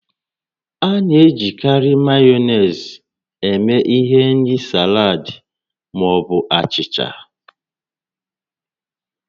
A na-ejikarị Mayonezi eme ihe n'ịri salad ma ọ bụ achịcha